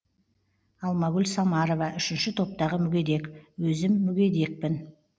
алмагүл самарова үшінші топтағы мүгедек өзім мүгедекпін